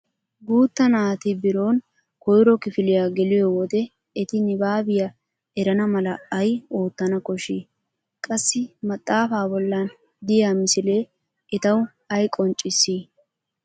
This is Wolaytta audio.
Guutta naati birooni koyro kifiliya geliyo wode eti nibaabiya erana mala ay oottana koshshi? Qassi maxaafaa bollan diya misile etawu ay qonccissi?